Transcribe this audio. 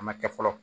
A ma kɛ fɔlɔ